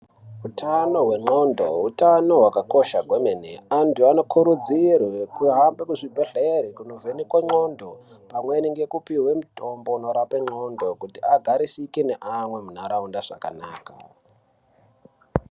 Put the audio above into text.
Utano hwendxodo utano hwaakakosha kwemene antu anokurudzirwe kuhambe muzvibhedhere kundovhenekwe ndxondo pamwe nekupuwe mutombo unorape ndxondo kuti agarisike naamwe muntaraunda zvakanaka.